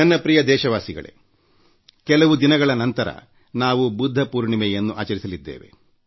ನನ್ನ ಪ್ರೀತಿಯ ದೇಶವಾಸಿಗಳೇ ಕೆಲವು ದಿನಗಳ ನಂತರ ನಾವು ಬುದ್ಧ ಪೌರ್ಣಮೆಯನ್ನು ಆಚರಿಸಲಿದ್ದೇವೆ